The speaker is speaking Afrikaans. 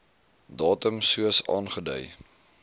datum soos aangedui